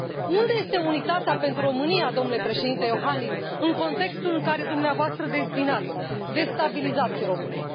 Unde este unitatea pentru România, domnule Președinte Iohannis, în contextul în care dumneavoastră dezbinați, destabilizați România?